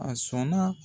A sɔnna